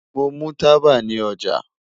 Mo mu taba ni oja